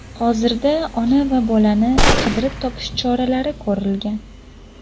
Hozirda ona va bolani qidirib topish choralari ko‘rilgan.